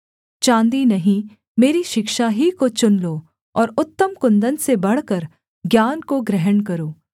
चाँदी नहीं मेरी शिक्षा ही को चुन लो और उत्तम कुन्दन से बढ़कर ज्ञान को ग्रहण करो